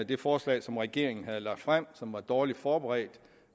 det forslag som regeringen havde lagt frem og som var dårligt forberedt